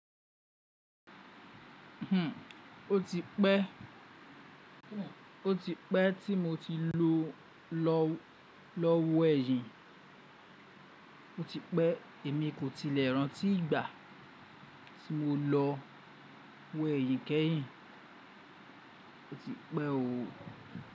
O ti pẹ́ tí mo ti lọ wẹ́yìn. O ti pẹ́ èmi kò tilẹ̀ rántí ìgbà tí mo lọ wẹ́yìn kẹ́yìn. O ti pe ooo.